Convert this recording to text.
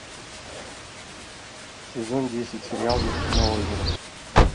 сезон десять сериал вершина озера